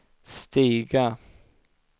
stiga